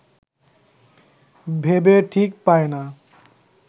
ভেবে ঠিক পায় না